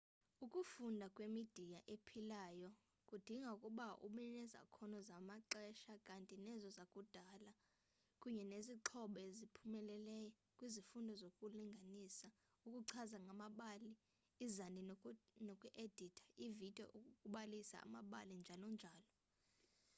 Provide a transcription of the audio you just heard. ukufunda ngemidiya ephilayo kudinga ukuba ubenezakhono zalamaxesha kanti nezo zakudala kunye nezixhobo oziphumelele kwizifundo zokulinganisa ukuchaza ngamabali izandi noku editha ividiyo ukubalisa amabali njalo njalo.